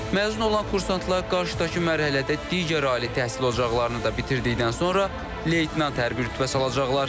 Məzun olan kursantlar qarşıdakı mərhələdə digər ali təhsil ocaqlarını da bitirdikdən sonra leytenant hərbi rütbəsi alacaqlar.